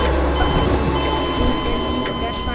Hún er líka hrædd.